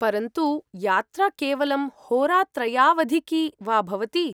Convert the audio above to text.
परन्तु, यात्रा केवलं होरात्रयावधिकी वा भवति ।